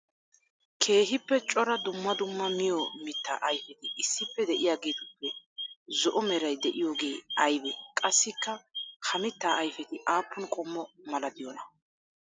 Keehippe cora dumma dumma miyo mitaa ayfetti issippe de'iyagettuppe zo'o meray de'iyooge aybee? Qassikka ha mita ayfetti aapun qomo malatiyoona?